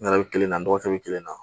Nɛrɛ bɛ kelen na n dɔgɔkɛ bɛ kelen na